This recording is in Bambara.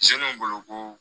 Seluw bolo ko